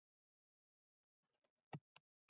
Hugrún Halldórsdóttir: Hvernig þá?